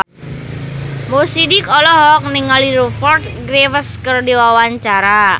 Mo Sidik olohok ningali Rupert Graves keur diwawancara